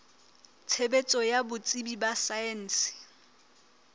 tshebetso ya botsebi ba saense